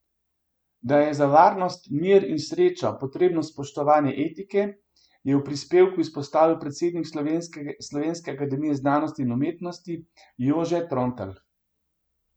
Da je za varnost, mir in srečo potrebno spoštovanje etike, je v prispevku izpostavil predsednik Slovenske akademije znanosti in umetnosti Jože Trontelj.